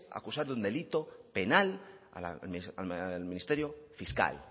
acusar de un delito penal al ministerio fiscal